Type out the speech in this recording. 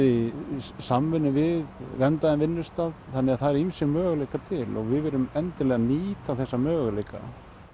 í samvinnu við verndaðan vinnustað þannig að það eru ýmsir möguleikar til og við viljum endilega nýta þessa möguleika